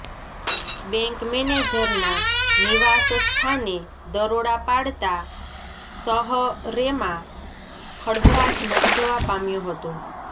bank મેનજરના નિવાસસ્થાને દરોડા પાડતા શહરેમાં ખળભળાટ મચી જવા પામ્યો હતો